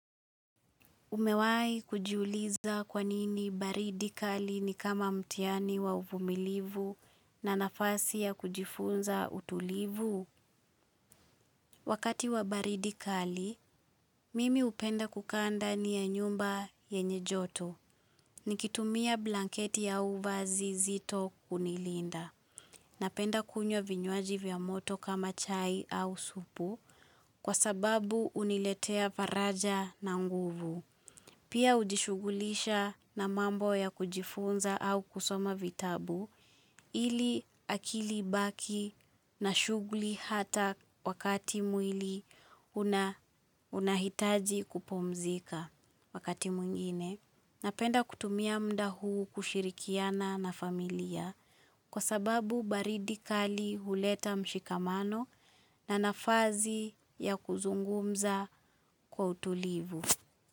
Umewahi kujuliza kwanini baridi kali ni kama mtiani wa uvumilivu na nafasi ya kujifunza utulivu? Wakati wa baridi kali, mimi hupenda kukaa ndani ya nyumba yenye joto Nikitumia blanketi au vazi zito kunilinda. Napenda kunywa vya moto kama chai au supu kwa sababu huniletea faraja na nguvu. Pia hujishughulisha na mambo ya kujifunza au kusoma vitabu, ili akili ibaki na shughuli hata wakati mwili unahitaji kupumzika wakati mwingine. Napenda kutumia mda huu kushirikiana na familia kwa sababu baridi kali huleta mshikamano na nafazi ya kuzungumza kwa utulivu.